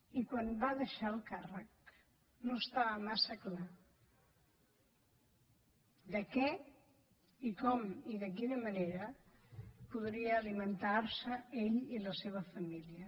i quan va deixar el càrrec no estava massa clar de què i com i de quina manera podria alimentar se ell i la seva família